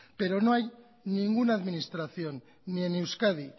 pero no hay ninguna administración ni en euskadi